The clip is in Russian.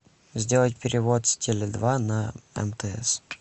сделать перевод с теле два на мтс